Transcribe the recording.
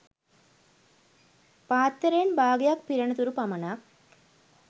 පාත්තරයෙන් බාගයක් පිරෙනතුරු පමණක්